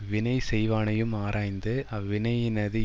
வினை செய்வானையும் ஆராய்ந்து அவ்வினையினது